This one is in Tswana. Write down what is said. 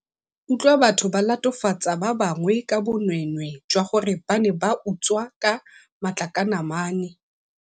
utlwa batho ba latofatsa ba bangwe ka bonweenwee jwa gore ba ne ba utswa ka makatlanamane.